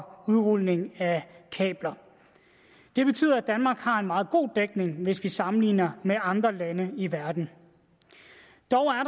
udrulning af kabler det betyder at danmark har en meget god dækning hvis vi sammenligner med andre lande i verden dog er